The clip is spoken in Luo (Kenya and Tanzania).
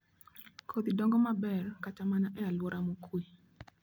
Kodhi dongo maber kata mana e alwora mokuwe